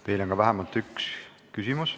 Teile on ka vähemalt üks küsimus.